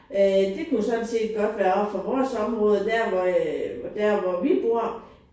Øh det kunne sådan set godt være oppe fra vores område der hvor øh der hvor vi bor